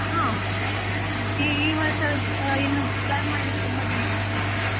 ಹಾ, ಈ ವರ್ಷ ಇನ್ನು plan ಮಾಡ್ಲಿಕ್ಕೆ ಇನ್ನು ತುಂಬಾ ದಿನ ಇದೆ.